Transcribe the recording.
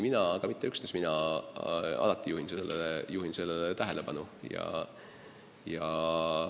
Aga muidugi ei juhi sellele tähelepanu üksnes mina.